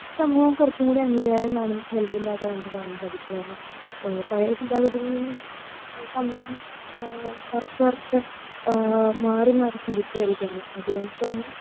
സമൂഹം കുറച്ചുംകൂടി അംഗീകാരം കാണുന്ന നല്കുന്നതായിട്ടാണ് നമുക്ക് കാണാൻ സാധിക്കുന്നത് കാരണം ഏഹ് പഴയ ചിന്താഗതിയിൽ നിന്നും ആഹ്മ് കുറച്ച് കുറച്ച് മാറി മാറി ചിന്തിച്ചു വരികയാണ് അതുകൊണ്ട് തന്നെ